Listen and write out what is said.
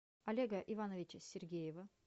олега ивановича сергеева